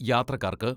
യാത്രക്കാർക്ക്